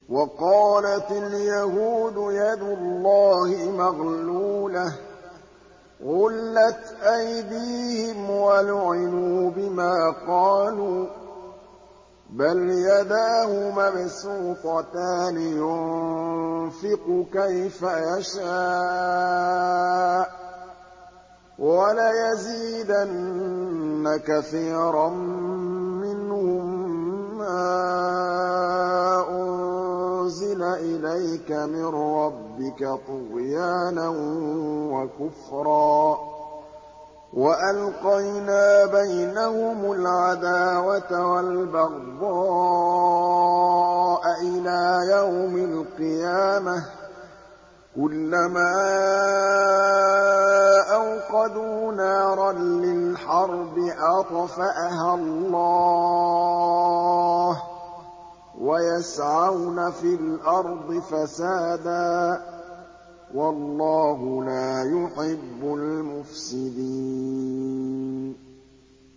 وَقَالَتِ الْيَهُودُ يَدُ اللَّهِ مَغْلُولَةٌ ۚ غُلَّتْ أَيْدِيهِمْ وَلُعِنُوا بِمَا قَالُوا ۘ بَلْ يَدَاهُ مَبْسُوطَتَانِ يُنفِقُ كَيْفَ يَشَاءُ ۚ وَلَيَزِيدَنَّ كَثِيرًا مِّنْهُم مَّا أُنزِلَ إِلَيْكَ مِن رَّبِّكَ طُغْيَانًا وَكُفْرًا ۚ وَأَلْقَيْنَا بَيْنَهُمُ الْعَدَاوَةَ وَالْبَغْضَاءَ إِلَىٰ يَوْمِ الْقِيَامَةِ ۚ كُلَّمَا أَوْقَدُوا نَارًا لِّلْحَرْبِ أَطْفَأَهَا اللَّهُ ۚ وَيَسْعَوْنَ فِي الْأَرْضِ فَسَادًا ۚ وَاللَّهُ لَا يُحِبُّ الْمُفْسِدِينَ